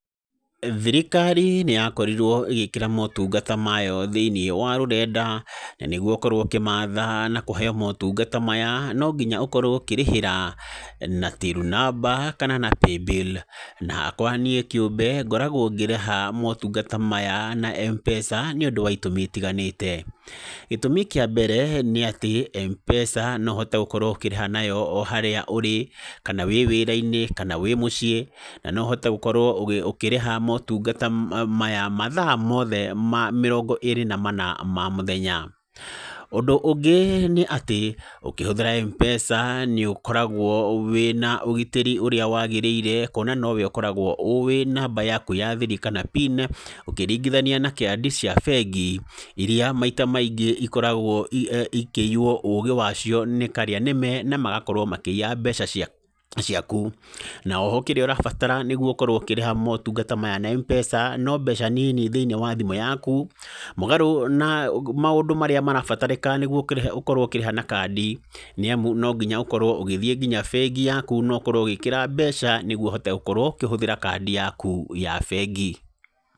Thirikari nĩyakorirwo ĩgĩkĩra motungata mayo thĩinĩ wa rũrenda. Nanĩguo ũkorwo ũkĩmatha nakũheyo motungata maya, nonginya ũkorwo ũkĩrĩhĩra, na Till namba kana na Pay-Bill. Niĩ hakwa kĩũmbe ngoragwo ngĩrĩha motungata maya na M-pesa, nĩũndũ wa itũmi itiganĩte. Gĩtũmi kĩambere nĩatĩ, M-pesa no ũhote gũkorwo ũkĩrĩha nayo oharĩa ũrĩ, kana wĩwĩrainĩ, kana wĩmũciĩ, no ũhote gũkorwo ũkĩrĩha motungata maya mathaa mothe mĩrongo ĩrĩ na mana ma mũthenya. Ũndũ, ũngĩ nĩ atĩ, ũkĩhũthĩra M-pesa nĩ ũkoragwo wĩna ũgitĩri ũrĩa wagĩrĩire kwona nowe ũkoragwo ũĩ namba yaku ya thiri kana PIN, ũkĩringithania na kandi cia bengi iria maita maingĩ ikoragwo ikĩiywo ũgĩ wacio nĩ karĩa nĩme na magakorwo makĩiya mbeca ciaku. Na oho kĩrĩa ũrabatara nĩguo ũkorwo ũkĩhũthĩra motungata maya na M-pesa, no mbeca nini thĩinĩ wa thimũ yaku, mũgarũ na maũndũ marĩa marabatarĩka nĩguo ũkĩrĩha ũgakorwo ũkĩrĩha na kandi. Nĩamu nonginya ũkorwo ũgĩthiĩ nginya bengi yaku nokorwo ũgĩkĩra mbeca nĩguo ũhote gũkorwo ũkĩhũthĩra kandi yaku ya bengi.